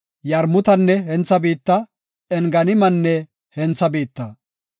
Yarmutanne hentha biitta, Enganimanne hentha biitta.